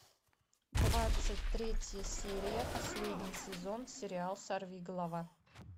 двадцать третья серия последний сезон сериал сорви голова